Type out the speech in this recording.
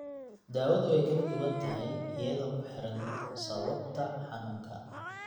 Daawadu way kala duwan tahay iyadoo ku xidhan sababta xanuunka.